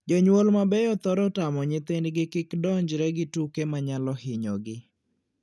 Jonyuol mabeyo thoro tamo nyithindgi kik donjre gi tuke ma nyalo hinyogi.